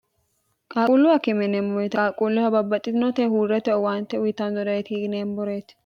qaaquulluwa kimineemmoyite qaaqquulluha babbaxxitinote huurrete owaante uyitamnorei hiineemboreeti